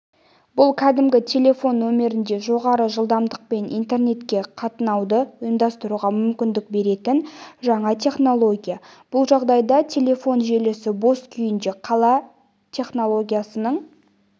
бұл кәдімгі телефон нөмірінде жоғары жылдамдықпен интернетке қатынауды ұйымдастыруға мүмкіндік беретін жаңа технология бұл жағдайда телефон желісі бос күйінде қала технологиясының